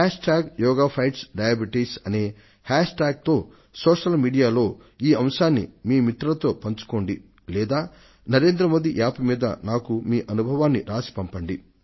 hash tag yoga fights diabetes అనే hashtag తో సామాజిక మాధ్యమంలో ఈ అంశాన్ని మీ మిత్రులతో పంచుకోండి లేదా నరేంద్ర మోదీ యాప్ మీద మీ అనుభవాన్ని రాసి నాకు పంపించండి